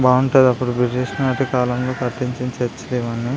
బాగుంటాది అప్పుడు బ్రిటిష్ ల కాలంలో కట్టించిన చర్చి లివన్నీ.